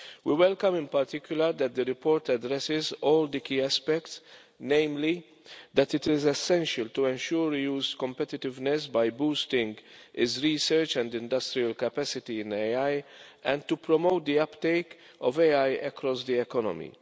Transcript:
We welcome in particular that the report addresses all the key aspects, namely, that it is essential to ensure the EU's competitiveness by boosting its research and industrial capacity in AI and to promote the uptake of AI across the economy.